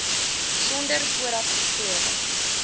sonder vooraf geskrewe